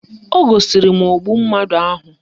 O gosiri m ogbu mmadụ ahụ